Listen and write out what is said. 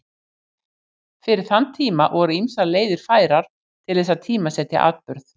Fyrir þann tíma voru ýmsar leiðir færar til þess að tímasetja atburð.